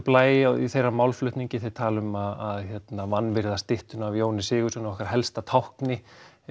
blæ í þeirra málflutningi þeir tala um að vanvirða styttu af Jóni Sigurðssyni okkar helsta tákni